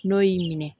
N'o y'i minɛ